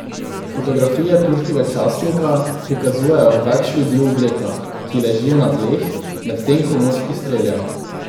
Fotografije turškega časnika prikazujejo več ljudi v oblekah, ki ležijo na tleh, medtem ko moški strelja.